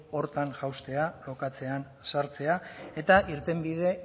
horretan jaustea lokatzean sartzea eta irtenbide